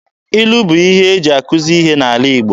Ilu bụ ihe eji akuzi ihe n'ala Igbo.